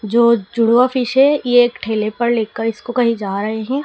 जो जुड़वा फिश है ये एक ठेले पर लेकर इसको कहीं जा रहे हैं।